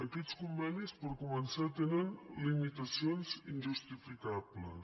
aquests convenis per començar tenen limitacions injustificables